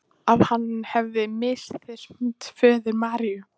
Að hann hefði misþyrmt föður Maríu.